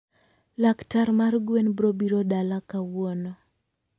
Laktar mar gwen brobiro dala kawuno